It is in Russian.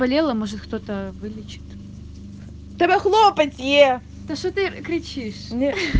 болела может кто-то вылечит у тэбе хлопец е та шо ты кричишь нет